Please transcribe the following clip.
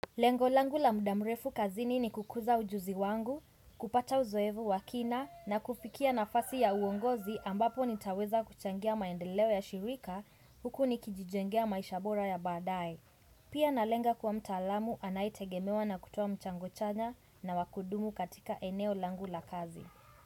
Lengo langu la muda mrefu kazini ni kukuza ujuzi wangu, kupata uzoevu wa kina na kufikia nafasi ya uongozi ambapo nitaweza kuchangia maendeleo ya shirika huku nikijijengea maisha bora ya baadaye. Pia nalenga kuwa mtaalamu anayetegemewa na kutoa mchango chanya na wa kudumu katika eneo langu la kazi.